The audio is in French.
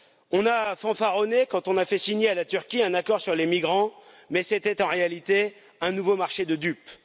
On a fanfaronné quand on a fait signer à la Turquie un accord sur les migrants, mais c'était en réalité un nouveau marché de dupes.